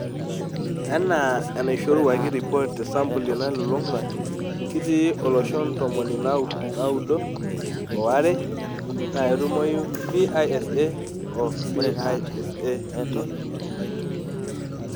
Anaa enaishoruaki ripoot te sampuli nalulung' waai kiti ooloshon ntomoni naaudo owaaare naa ketumoyu PISA o PISA D